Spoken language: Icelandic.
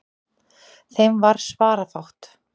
Þeim varð svarafátt.